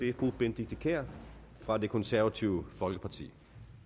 er fru benedikte kiær fra det konservative folkeparti